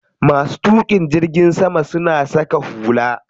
Masu tuƙin jirgin sama suna saka hula.